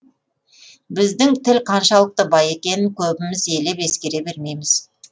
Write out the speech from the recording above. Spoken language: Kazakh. біздің тіл қаншалықты бай екенін көбіміз елеп ескере бермейміз